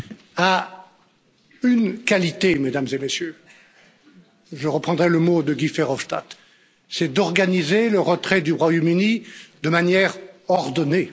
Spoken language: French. a une qualité, mesdames et messieurs je reprendrai le mot de Guy Verhofstadt c'est d'organiser le retrait du Royaume Uni de manière ordonnée.